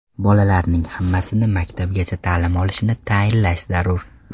Bolalarning hammasi maktabgacha ta’lim olishini ta’inlash zarur.